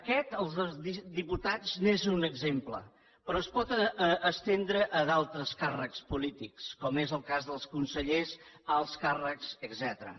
aquest el dels diputats n’és un exemple però es pot estendre a d’altres càrrecs polítics com és el cas dels consellers alts càrrecs etcètera